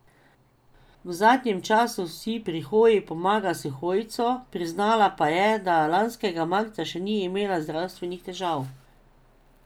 V zadnjem času si pri hoji pomaga s hojco, priznala pa je, da lanskega marca še ni imela zdravstvenih težav.